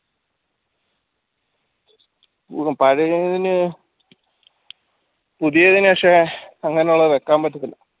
ഹും പഴയതിനെ പുതിയതിന് പക്ഷേ ഇങ്ങനെയുള്ളത് വെക്കാൻ പറ്റത്തില്ല